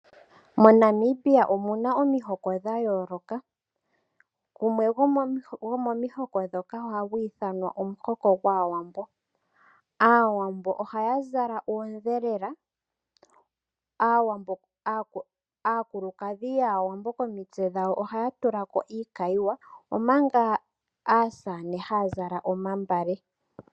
MoNamibia omu na omuhoko dha yooloka. Gumwe gwo momihoko moka, oha gu ithanwa omuhoko gwaAwambo. Aawambo ohaya zala oondhelela, aakulukadhi yaAwambo komitse dhawo ohaa tula ko iikayiwa , omanga aasamane haya zala omagala.